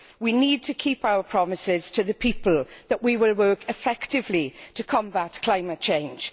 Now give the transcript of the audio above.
We need to keep our promises to the people that we will work effectively to combat climate change.